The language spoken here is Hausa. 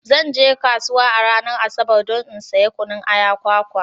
Zan je kasuwa a ranar Asabar don in saya kunun aya, kwakwa.